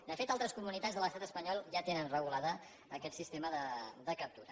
de fet altres comunitats de l’estat espanyol ja tenen regulat aquest sistema de captura